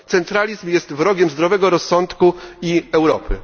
Centralizm jest wrogiem zdrowego rozsądku i Europy.